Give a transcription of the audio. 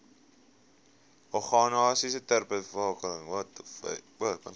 organisasies ter bevordering